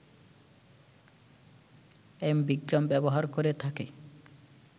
ambigram ব্যবহার করে থাকে